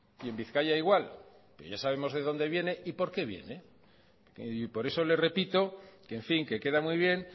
y en bizkaia igual pero ya sabemos de dónde viene y por qué viene y por eso le repito que en fin que queda muy bien